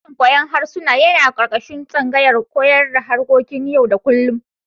Sashin koyar da harsuna yana ƙarƙashin tsangayar koyon da harkokin yau-da-kullum.